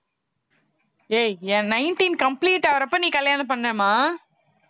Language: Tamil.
ஏய் என் nineteen complete ஆகறப்ப நீ கல்யாணம் பண்ணேம்மா